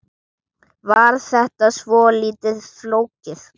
Var þetta svolítið flókið?